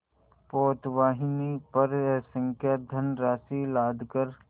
पोतवाहिनी पर असंख्य धनराशि लादकर